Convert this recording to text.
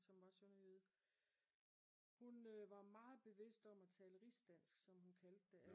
Som var sønderjyde hun var meget bevidst om at tale rigsdansk som hun kaldte det